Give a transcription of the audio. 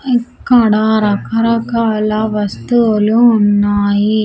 ఇక్కడ రకరకాల వస్తువులు ఉన్నాయి.